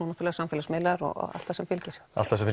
náttúrulega samfélagsmiðlar og allt því sem fylgir